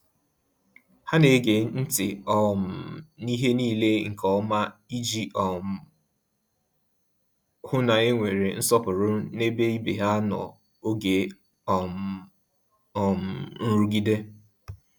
Ha na-ege ntị um n’ihe niile nke ọma iji um hụ na e nwere nsọpụrụ n’ebe ibe ha nọ n’oge um um nrụgide.